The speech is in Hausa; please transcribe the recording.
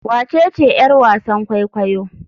Wacece yar wasan kwaikwayo?